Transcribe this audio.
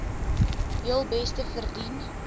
heel beste verdien